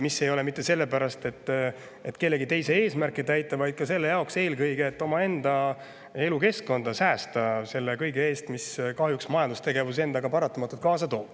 Need ei ole mitte sellepärast, et kellegi teise eesmärke täita, vaid eelkõige selle jaoks, et omaenda elukeskkonda säästa selle kõige eest, mida majandustegevus kahjuks endaga paratamatult kaasa toob.